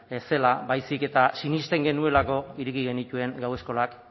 ez zela baizik eta sinisten genuelako ireki genituen gau eskolak